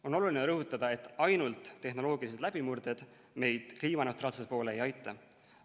On oluline rõhutada, et ainult tehnoloogilised läbimurded meid kliimaneutraalsuse poole ei aita.